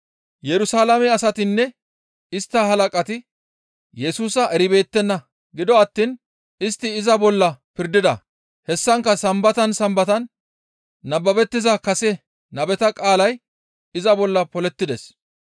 Yerusalaame asatinne istta halaqati Yesusa eribeettenna; gido attiin istti iza bolla pirdida; hessankka sambatan sambatan nababettiza kase nabeta qaalay iza bolla polettides.